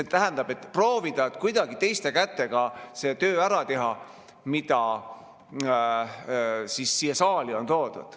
See tähendab proovida kuidagi teiste kätega see töö ära teha, mis siia saali on toodud.